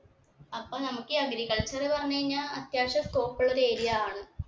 അപ്പൊ നമ്മക്ക് ഈ agriculture പറഞ്ഞഴിഞ്ഞാ അത്യാവശ്യം scope ഉള്ള ഒരു area ആണ്